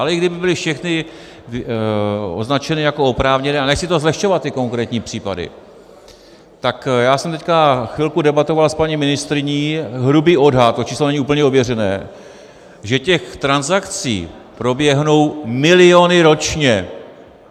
Ale i kdyby byly všechny označené jako oprávněné, a nechci to zlehčovat, ty konkrétní případy, tak já jsem teď chvilku debatoval s paní ministryní, hrubý odhad, to číslo není úplně ověřené, že těch transakcí proběhnou miliony ročně.